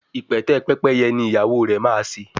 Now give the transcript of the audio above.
ipẹtẹ Pẹ́pẹ́yẹ ní ìyàwó rẹ má ṣe.